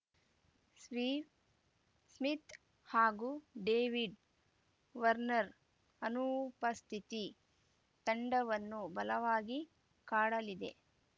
Steve Smith ಹಾಗೂ David Warner ಅನುಪಸ್ಥಿತಿ ತಂಡವನ್ನು ಬಲವಾಗಿ ಕಾಡಲಿದೆ